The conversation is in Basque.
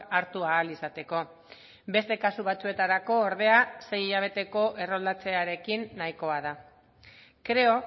hartu ahal izateko beste kasu batzuetarako ordea sei hilabeteko erroldatzearekin nahikoa da creo